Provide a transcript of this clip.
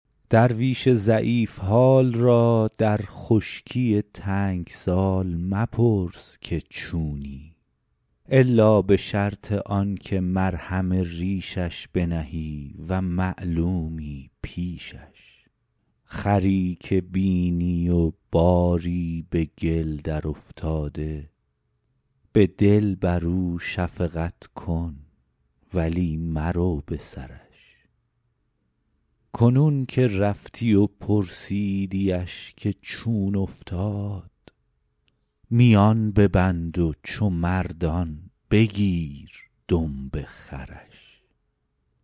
درویش ضعیف حال را در خشکی تنگ سال مپرس که چونی الا به شرط آن که مرهم ریشش بنهی و معلومی پیشش خری که بینی و باری به گل درافتاده به دل بر او شفقت کن ولی مرو به سرش کنون که رفتی و پرسیدیش که چون افتاد میان ببند و چو مردان بگیر دمب خرش